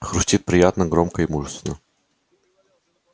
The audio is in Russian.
хрустит приятно громко и мужественно